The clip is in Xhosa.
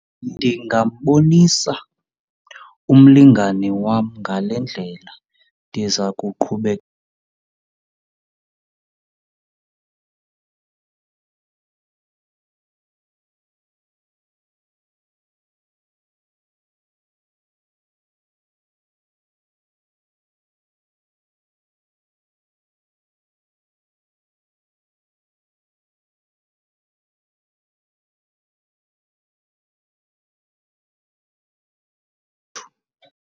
Ndingambonisa umlingane wam ngale ndlela, ndiza kuqhubeka .